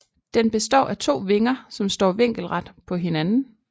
Den består af to vinger som står vinkelret på hinanden